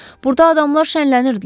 Burada adamlar şənlənirdilər.